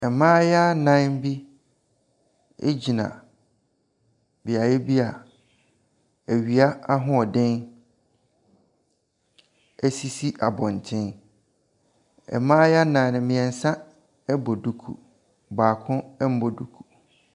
Mmayewa nnan bi gyina beaeɛ bi a awia ahoɔden sisi abɔnten. Mmayewa nnan no, mmeɛnsa bɔ duku. Baako mmɔ duku.